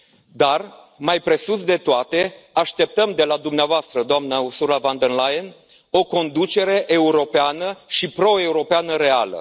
Dar, mai presus de toate, așteptăm de la dumneavoastră, doamnă Ursula von der Leyen, o conducere europeană și proeuropeană reală.